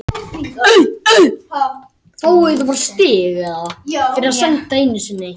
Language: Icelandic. Svo má segja að það vanti kannski fleiri afgerandi menn í liðið.